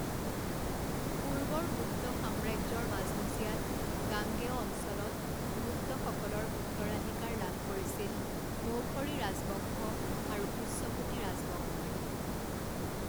পূৰ্বৰ গুপ্ত সাম্ৰাজ্যৰ মাজমজিয়াত, গাঙ্গেয় অঞ্চলত, গুপ্তসকলৰ উত্তৰাধিকাৰ লাভ কৰিছিল মৌখৰী ৰাজবংশ আৰু পূষ্যভূতি ৰাজবংশই।